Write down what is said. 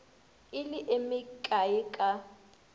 e le e mekae ka